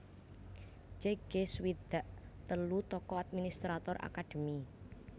Jack Kay swidak telu tokoh administrator akadémi